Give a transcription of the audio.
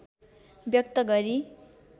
व्यक्त गरी